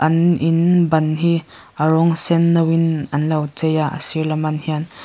an in ban hi a rawng sen no in an lo chei a a sir lam an hian.